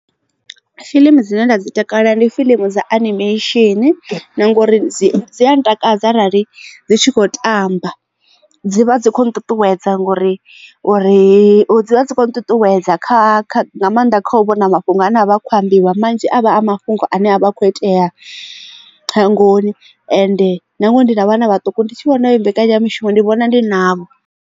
Fiḽimu dzine nda dzi takalela ndi fiḽimu dza animation na ngori dzi a ntakadza arali dzi tshi khou tamba dzivha dzi kho nṱuṱuwedza ngori uri dzi vha dzi kho nṱuṱuwedza kha nga maanḓa kha u vhona mafhungo ane avha akho ambiwa manzhi a vha a mafhungo ane avha a kho itea shangoni ende nangwe ndi na vhana vhaṱuku ndi tshi vhona heyo mbekanyamishumo ndi vhona ndi navho.